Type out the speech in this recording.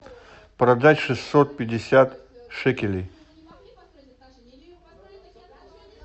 продать шестьсот пятьдесят шекелей